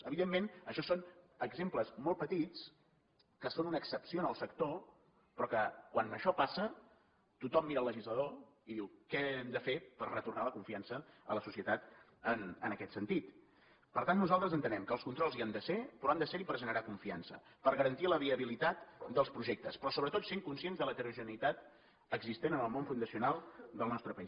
evidentment això són exemples molt petits que són una excepció en el sector però que quan això passa tothom mira el legislador i diu què hem de fer per retornar la confiança a la societat en aquest sentit per tant nosaltres entenem que els controls hi han de ser però han de ser hi per generar confiança per garantir la viabilitat dels projectes però sobretot sent conscients de l’heterogeneïtat existent en el món fundacional del nostre país